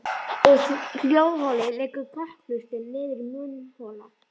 Úr hljóðholi liggur kokhlustin niður í munnhol.